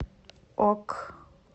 ок